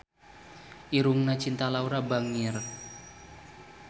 Irungna Cinta Laura bangir